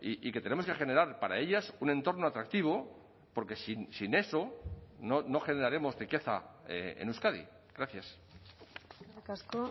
y que tenemos que generar para ellas un entorno atractivo porque sin eso no generaremos riqueza en euskadi gracias eskerrik asko